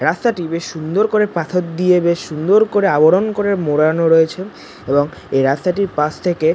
রাস্তাটি বেশ সুন্দর করে পাথর দিয়ে বেশ সুন্দর করে আবরণ করে মোড়ানো রয়েছে এবং এই রাস্তাটির পাশ থেকে--